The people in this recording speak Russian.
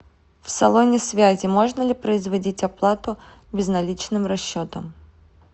в салоне связи можно ли производить оплату безналичным расчетом